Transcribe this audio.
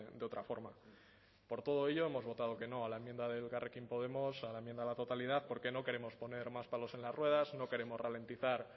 de otra forma por todo ello hemos votado que no a la enmienda de elkarrekin podemos a la enmienda a la totalidad porque no queremos poner más palos en las ruedas no queremos ralentizar